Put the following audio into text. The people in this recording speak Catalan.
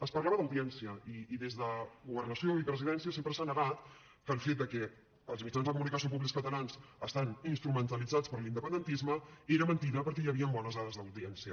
es parlava d’audiència i des de governació i presidència sempre s’ha negat que el fet que els mitjans de comunicació públics catalans estiguessin instrumentalitzats per l’independentisme era mentida perquè hi havien bones dades d’audiència